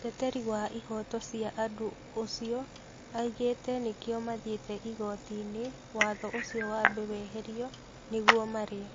Mũteteri wa ihoto cia andũ ũcio augĩte nĩkĩo mathiĩte igoti-inĩ watho ũcio wambe weherio nĩguo marie.